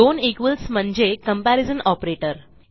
दोन म्हणजे comparison operator